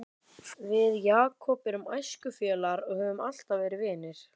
Við Jakob erum æskufélagar og höfum alltaf verið vinir.